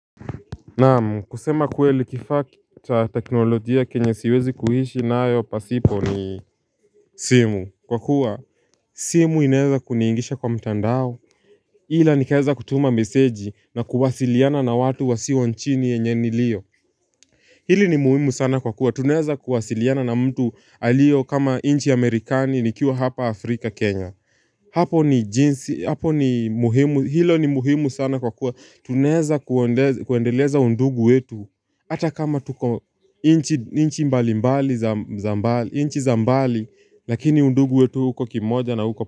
Naamu kusema kweli kifaa cha teknolojia kenyesiwezi kuhishi nayo pasipo ni simu kwa kuwa simu inaeza kuniingisha kwa mtandao Hila nikaeza kutuma meseji na kuwasiliana na watu wa siwa nchini enyeni liyo Hili ni muhimu sana kwa kuwa tuneza kuwasiliana na mtu alio kama inchi amerikani nikiwa hapa Afrika Kenya Hapo ni jinsi hapo ni muhimu hilo ni muhimu sana kwa kuwa tuneza kuendeleza undugu wetu Hata kama tuko inchi mbali mbali, inchi za mbali, lakini undugu wetu huko kimoja na huko.